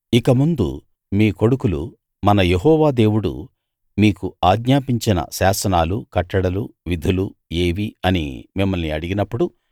ఇక ముందు మీ కొడుకులు మన యెహోవా దేవుడు మీకు ఆజ్ఞాపించిన శాసనాలు కట్టడలు విధులు ఏవి అని మిమ్మల్ని అడిగినప్పుడు